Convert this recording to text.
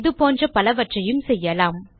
இது போன்ற பலவற்றையும் செய்யலாம்